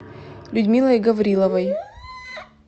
людмилой гавриловой